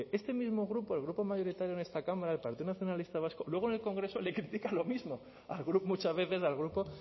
este mismo grupo el grupo mayoritario en esta cámara el partido nacionalista vasco luego en el congreso le critica lo mismo muchas veces al grupo